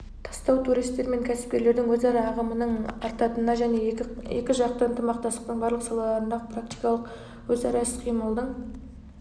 тастау туристер мен кәсіпкерлердің өзара ағымының артатынына және екіжақты ынтымақтастықтың барлық салаларындағы практикалық өзара іс-қимылдың